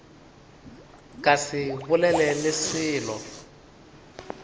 ka se bolele le selo